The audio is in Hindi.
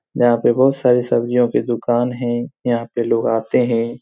यहाँ पे बहुत सारी सब्जियों के दूकान हैं यहाँ पे लोग आते हैं।